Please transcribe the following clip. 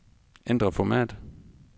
Ændr format.